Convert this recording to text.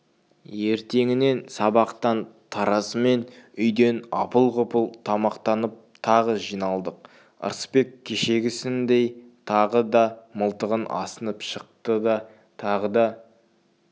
ертеңіне сабақтан тарасымен үйден апыл-ғұпыл тамақтанып тағы жиналдық ырысбек кешегісіндей тағы да мылтығын асынып шықты да тағы да